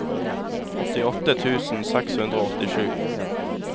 åttiåtte tusen seks hundre og åttisju